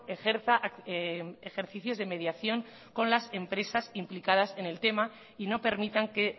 ejerza ejercicios de mediación con las empresas implicadas en el tema y no permitan que